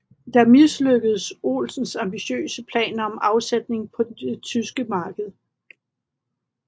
Der mislykkedes Olsens ambitiøse planer om afsætning på det tyske marked